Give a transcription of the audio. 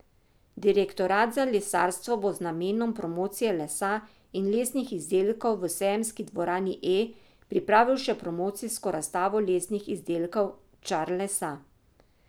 Direktorat za lesarstvo bo z namenom promocije lesa in lesnih izdelkov v sejemski dvorani E pripravil še promocijsko razstavo lesnih izdelkov Čar lesa.